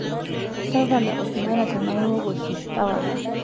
Tapala osigara tenaa iwok oshi, tapala.